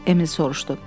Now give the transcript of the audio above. Emil soruşdu.